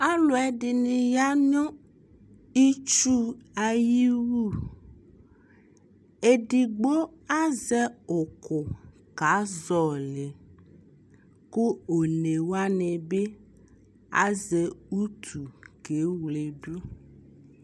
Alʋɛdɩnɩ ya nʋ itsu ayiwu Edigbo azɛ ʋkʋ kazɔɔlɩ kʋ onewanɩ bɩ azɛ utu keweledu